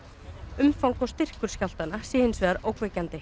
umfang og styrkur skjálftanna sé hins vegar ógnvekjandi